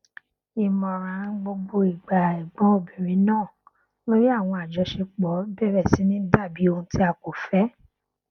ìmọràn gbogbo ìgbà ẹgbọn obìnrin náà lórí àwọn àjọṣepọ bẹrẹ sì ní dàbí ohun ti a kò fẹ